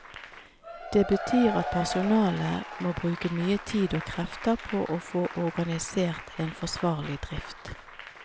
Det betyr at personalet må bruke mye tid og krefter på å få organisert en forsvarlig drift.